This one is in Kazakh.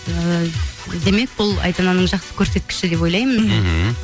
ыыы демек бұл айдананың жақсы көрсеткіші деп ойлаймын мхм